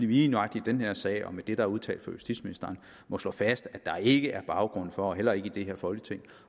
vi lige nøjagtig i den her sag og med det der udtalt af justitsministeren må slå fast at der ikke er baggrund for heller ikke i det her folketing